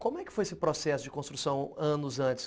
Como é que foi esse processo de construção anos antes?